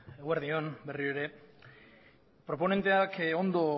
eguerdi on berriro ere proponenteak ondo